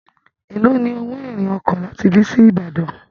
èló ní owo irin oko láti ibí sí ibadan.